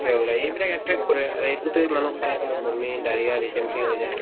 ওলায় এইবিলাক এক থাক এ মানুহ খাই হয় বমি, diarrhea, dysentery হৈ যায়।